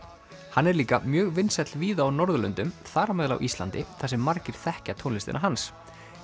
hann er líka mjög vinsæll víða á Norðurlöndum þar á meðal Íslandi þar sem margir þekkja tónlistina hans